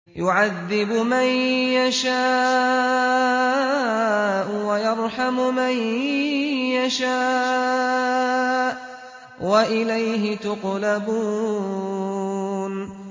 يُعَذِّبُ مَن يَشَاءُ وَيَرْحَمُ مَن يَشَاءُ ۖ وَإِلَيْهِ تُقْلَبُونَ